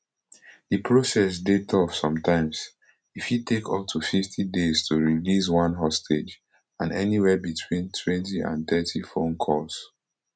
di process dey tough sometimes e fit take up to fifty days to release one hostage and anywia between twenty and thirty phone calls